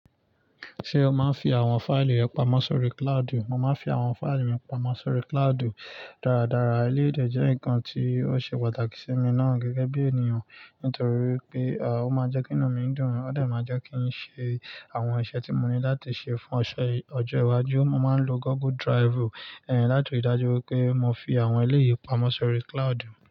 Ṣé o máa ń fi àwọn fáìlì rẹ pamọ́ sórí cloudu? Mo máa ń fi àwọn fáìlì mi pamọ́ sórí cloudu dáradára. Eleyi dè jẹ́ nǹkan tí ó ṣe pàtàkì sí mi náà gẹ́gẹ́ bí ènìyàn, nítorí pé á ó máa ń jẹ́ kí nú mi dùn, ó dẹ̀ máa ń jẹ́ kí n ṣe àwọn iṣẹ́ tí mo ní láti ṣe fún ọ̀ṣẹ̀ yíi ọjọ́ iwájú. Mo máa ń lo Google Drivú láti rí dájú pé mo fi àwọn eléyìí pamọ́ sórí cloudu.